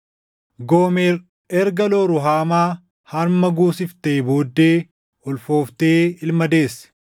Goomer erga Loo-Ruhaamaa harma guusiftee booddee ulfooftee ilma deesse.